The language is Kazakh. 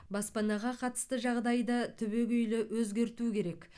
баспанаға қатысты жағдайды түбегейлі өзгерту керек